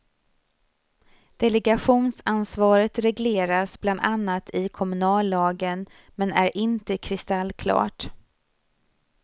Delegationsansvaret regleras bland annat i kommunallagen men är inte kristallklart.